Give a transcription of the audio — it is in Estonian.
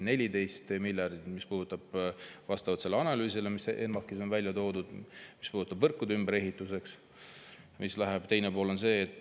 14 miljardit puudutab vastavalt sellele analüüsile, mis ENMAK‑is on välja toodud, võrkude ümberehitust, läheb selleks.